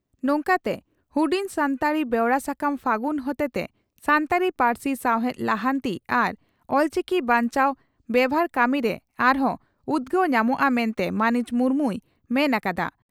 ᱱᱚᱝᱠᱟᱛᱮ ᱦᱩᱰᱤᱧ ᱥᱟᱱᱛᱟᱲᱤ ᱵᱮᱣᱨᱟ ᱥᱟᱠᱟᱢ ᱯᱷᱟᱹᱜᱩᱱ ᱦᱚᱛᱮᱛᱮ ᱥᱟᱱᱛᱟᱲᱤ ᱯᱟᱹᱨᱥᱤ ᱥᱟᱶᱦᱮᱫ ᱞᱟᱦᱟᱱᱛᱤ ᱟᱟᱨ ᱚᱞᱪᱤᱠᱤ ᱵᱟᱧᱪᱟᱣ ᱵᱮᱵᱷᱟᱨ ᱠᱟᱹᱢᱤᱨᱮ ᱟᱨ ᱦᱚᱸ ᱩᱫᱽᱜᱟᱹᱣ ᱧᱟᱢᱚᱜᱼᱟ ᱢᱮᱱᱛᱮ ᱢᱟᱹᱱᱤᱡ ᱢᱩᱨᱢᱩᱭ ᱢᱮᱱ ᱟᱠᱟᱫᱼᱟ ᱾